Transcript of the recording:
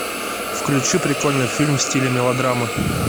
включи прикольный фильм в стиле мелодрамы